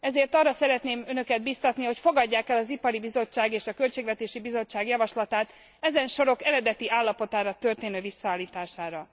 Ezért arra szeretném Önöket bíztatni, hogy fogadják el az Ipari Bizottság és a Költségvetési Bizottság javaslatát ezen sorok eredeti állapotára történő visszaállítására.